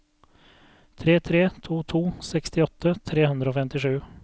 tre tre to to sekstiåtte tre hundre og femtisju